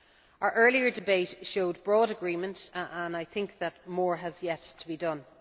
Our earlier debate showed broad agreement and I think that more has yet to be done.